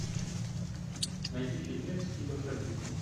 найди фильмец типа фэнтези